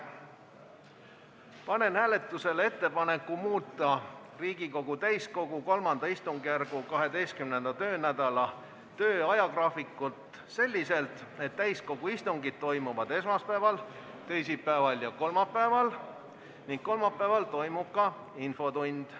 Panen hääletusele ettepaneku muuta Riigikogu täiskogu III istungjärgu 12. töönädala ajagraafikut selliselt, et täiskogu istungid toimuvad esmaspäeval, teisipäeval ja kolmapäeval ning kolmapäeval toimub ka infotund.